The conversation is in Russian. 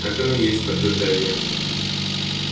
так оно и есть подтверждаю я